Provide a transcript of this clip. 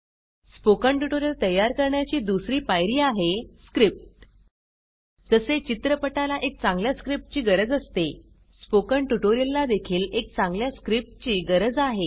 spoken tutorial तयार करण्याची दुसरी पायरी आहे स्क्रिप्ट जसे चित्रपटाला एक चांगल्या स्क्रिप्ट ची गरज असते स्पोकन ट्युटोरियल ला देखील एक चांगल्या स्क्रिप्ट ची गरज आहे